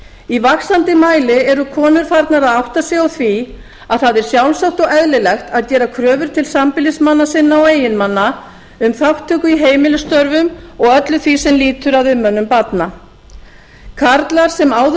í vaxandi mæli eru konur farnar að átta sig á því að það er sjálfsagt og eðlilegt að gera kröfur til sambýlismanna sinna og eiginmanna um þátttöku í heimilisstörfum og öllu því sem lýtur að umönnun barna karlar sem áður höfðu